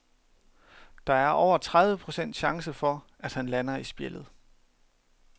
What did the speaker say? Der er over tredive procent chance for, at han lander i spjældet.